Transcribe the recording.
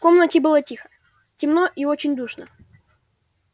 в комнате было тихо темно и очень душно